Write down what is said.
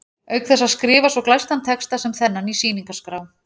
Auk þess að skrifa svo glæstan texta sem þennan í sýningarskrá